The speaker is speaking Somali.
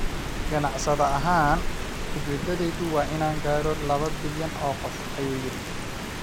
"Ganacsade ahaan, (ujeeddaydu) waa inaan gaadho laba bilyan oo qof," ayuu yidhi.